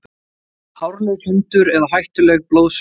Hárlaus hundur eða hættuleg blóðsuga